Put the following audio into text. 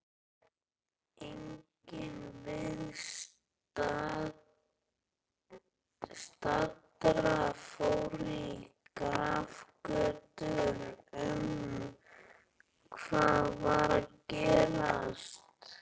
Enginn viðstaddra fór í grafgötur um hvað var að gerast.